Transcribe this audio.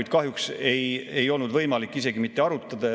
Seda kahjuks ei olnud võimalik isegi mitte arutada.